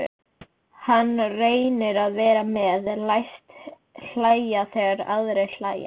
Hann reynir að vera með, læst hlæja þegar aðrir hlæja.